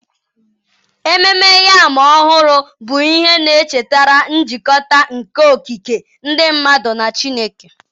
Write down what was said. Ememme Yam Ọhụrụ bụ ihe na-echetara njikọta nke okike, ndị mmadụ na Chineke.